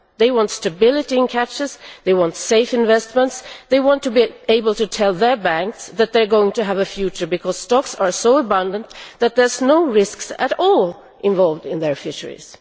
they want stability in catches, they want safe investments and they want to be able to tell their banks that they are going to have a future because stocks are so abundant that there are no risks at all involved in their fisheries.